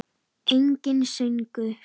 Enginn söngur.